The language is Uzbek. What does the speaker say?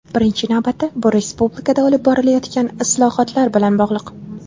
Birinchi navbatda bu respublikada olib borilayotgan islohotlar bilan bog‘liq.